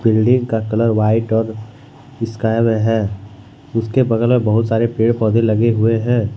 Building का colour white और sky में है उसके बगल में बहुत सारे पेड़ पौधे लगे हुए हैं।